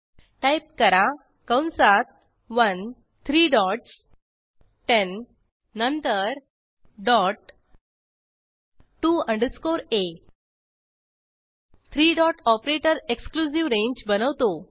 type करा कंसात 1 three dots 10 ठेण डॉट टीओ अंडरस्कोर आ three dot operator exclusive range बनवतो